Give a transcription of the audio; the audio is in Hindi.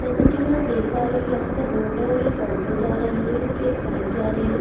जैसा की मैं देख पा रही हूँ यहाँ पर रोड है और एक ऑटो जा रही है एक बाइक जा रही है।